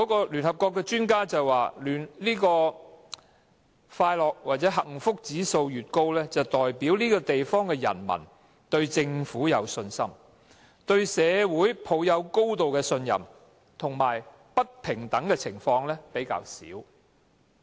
聯合國的專家表示，快樂或幸福指數高，代表這個地方的人民對政府有信心，對社會抱有高度的信任，以及不平等的情況較少。